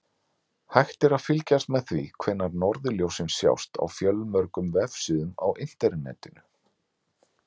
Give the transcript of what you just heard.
Hægt er að fylgjast með því hvenær norðurljósin sjást á fjölmörgum vefsíðum á Internetinu.